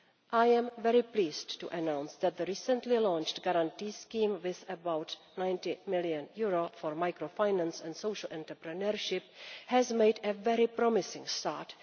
I am very pleased to announce that the recently launched guarantee scheme, with about EUR 90 million for microfinance and social entrepreneurship, has made a very promising start.